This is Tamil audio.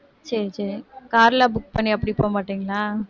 சரி, சரி car எல்லாம் book பண்ணி அப்படி போகமாட்டீங்களா